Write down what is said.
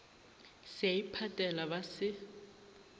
se a iphatela ba se